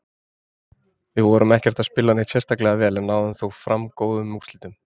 Við vorum ekkert að spila neitt sérstaklega vel, en náðum þó fram góðum úrslitum.